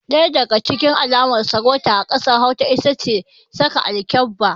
Ɗaya daga cikin alamar sarauta a ƙasar hausa itace saka alkyabba